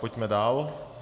Pojďme dál.